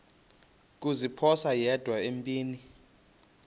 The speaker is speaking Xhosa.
kuziphosa yedwa empini